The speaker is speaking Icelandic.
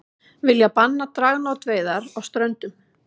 Vilja banna dragnótaveiðar á Ströndum